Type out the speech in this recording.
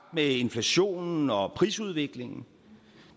med inflationen og prisudviklingen